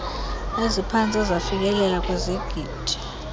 eziphantse zafikelela kwizigidi